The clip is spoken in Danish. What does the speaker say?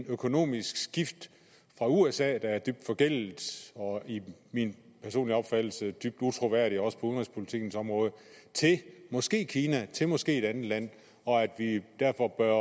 økonomisk skift fra usa der er dybt forgældet og i min personlige opfattelse dybt utroværdig også på udenrigspolitikkens område til måske kina til måske et andet land og at vi derfor bør